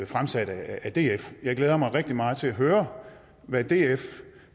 fremsat af df jeg glæder mig rigtig meget til at høre hvad df